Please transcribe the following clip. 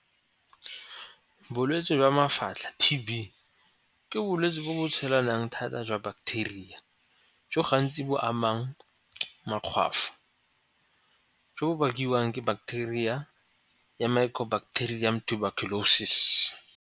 Bolwetse jwa mafatlha T_B, ke bolwetsi bo bo tshelanang thata jwa bacteria jo gantsi bo amang makgwafo jo bo bakiwang ke bacteria ya mycobacterium tuberculosis.